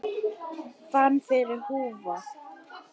Fann fyrir húfu